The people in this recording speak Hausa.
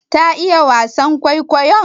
Ta iya wasan kwaikwayon?